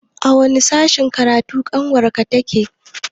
A wani sashen karatu ƙanwar ka take?